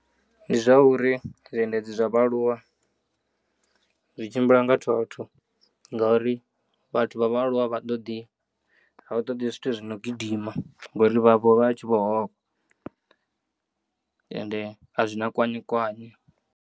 Ndi zwauri zwiendedzi zwa vha aluwa zwitshimbila nga thotho ngauri vhathu vha vha aluwa avhaṱoḓi avhaṱoḓi zwithu zwino gidima ngauri vha vho vhatshi vho ofha, ende azwina kwanyu kwanyu.